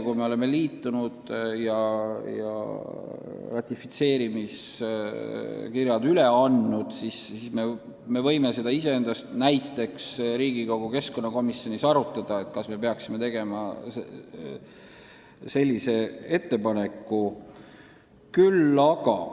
Kui me oleme liitunud ja ratifitseerimiskirjad üle andnud, siis me võime näiteks Riigikogu keskkonnakomisjonis arutada, kas me peaksime tegema sellise ettepaneku.